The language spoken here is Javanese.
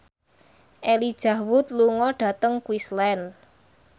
Elijah Wood lunga dhateng Queensland